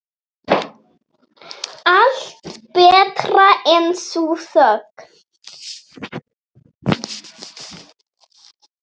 Allt betra en sú þögn.